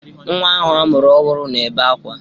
Nwa ahụ a mụrụ ọhụrụ na-ebe akwa.